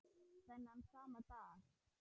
Þennan sama dag